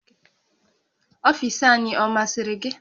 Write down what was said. Ọfiisi anyị ọ masịrị gị?